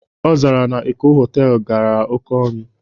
Ọ zara na Eko họtelu garara oké ọnụ